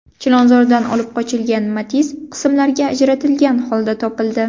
Chilonzordan olib qochilgan Matiz qismlarga ajratilgan holda topildi.